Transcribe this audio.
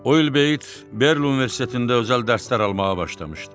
O il Beyit Berlu Universitetində özəl dərslər almağa başlamışdı.